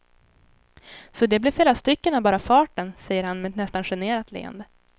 Så det blev flera stycken av bara farten, säger han med ett nästan generat leende.